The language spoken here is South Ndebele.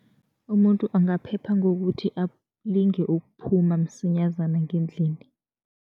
Umuntu angaphepha ngokuthi alinge ukuphuma msinyazana ngendlini.